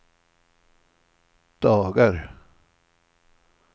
dagar